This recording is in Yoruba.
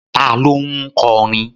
Ta ló ń kọrin?